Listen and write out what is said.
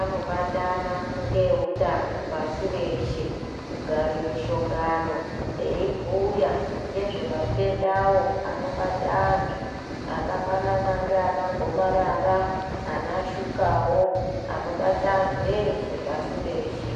anobatana ngeutano pashi reshe kugare mishongano eibhuya ngezvematendawo anobate anhu akafanana nganagomarara, anashukawo anobate anhu eshe pashireshe.